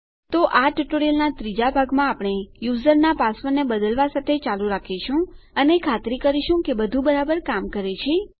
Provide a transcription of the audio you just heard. તો આ ટ્યુટોરીયલનાં 3 જાં ભાગમાં આપણે યુઝરના પાસવર્ડને બદલવા સાથે ચાલુ રાખીશું અને ખાતરી કરીશું કે બધું બરાબર કામ કરે છે